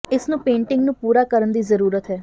ਇਸ ਨੂੰ ਪੇਂਟਿੰਗ ਨੂੰ ਪੂਰਾ ਕਰਨ ਦੀ ਜ਼ਰੂਰਤ ਹੈ